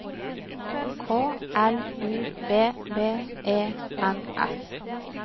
K L U B B E N S